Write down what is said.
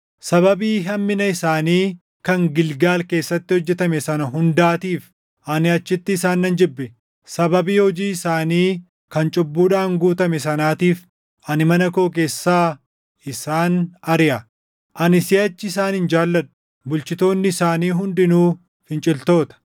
“Sababii hammina isaanii kan Gilgaal keessatti hojjetame sana hundaatiif, ani achitti isaan nan jibbe. Sababii hojii isaanii kan cubbuudhaan guutamee sanaatiif ani mana koo keessaa isaan ariʼa. Ani siʼachi isaan hin jaalladhu; bulchitoonni isaanii hundinuu finciltoota.